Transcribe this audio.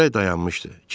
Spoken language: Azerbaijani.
Külək dayanmışdı.